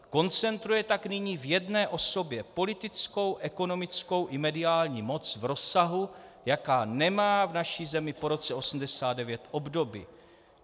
Koncentruje tak nyní v jedné osobě politickou, ekonomickou i mediální moc v rozsahu, jaká nemá v naší zemi po roce 1989 obdoby.